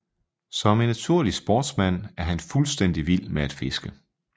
Som en naturlig sportsmand er han fuldstændig vild med at fiske